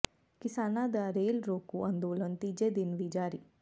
ਕਿਸਾਨਾਂ ਦਾ ਰੇਲ ਰੋਕੂ ਅੰਦੋਲਨ ਤੀਜੇ ਦਿਨ ਵੀ ਜਾਰੀ